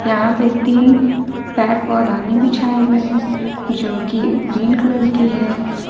यहां पे तीन पैर पौदाने बिछाए हुए हैं जो कि ग्रीन कलर की है ।